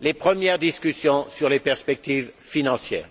les premières discussions sur les perspectives financières.